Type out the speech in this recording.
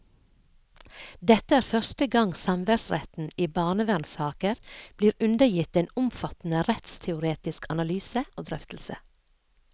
Dette er første gang samværsretten i barnevernssaker blir undergitt en omfattende rettsteoretisk analyse og drøftelse.